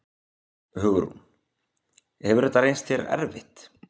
Hugrún: Hefur þetta reynst þér erfitt?